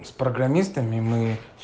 с программистами мы